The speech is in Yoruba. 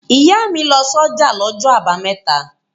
Ìyá mi lọ sọ́jà lọ́jọ́ àbámẹ́ta.